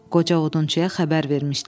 Qoca odunçuya xəbər vermişdilər.